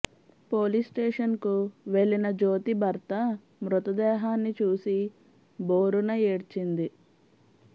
police station కు వెళ్లిన జ్యోతి భర్త మృతదేహాన్ని చూసి భోరున ఏడ్చింది